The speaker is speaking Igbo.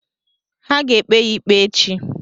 Ha ga-ekpe ya ikpe echi.